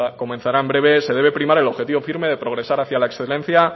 comenzará en breve se debe primar el objetivo firme de progresar hacia la excelencia